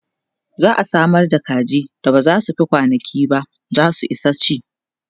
za'a Samar da kaji da ba zai Fi kwanankinba zasu Isa ci